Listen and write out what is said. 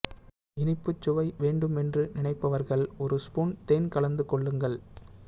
இனிப்புச் சுவை வேண்டுமென்று நினைப்பவர்கள் ஒரு ஸ்பூன் தேன் கலந்து கொள்லுங்கள்